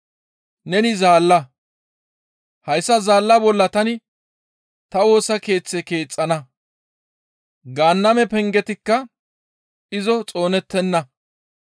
Neni zaalla; hayssa zaalla bolla tani ta Woosa Keeththe keexxana; Gaanname pengetikka izo xoonettenna.